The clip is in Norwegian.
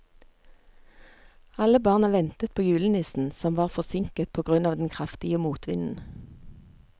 Alle barna ventet på julenissen, som var forsinket på grunn av den kraftige motvinden.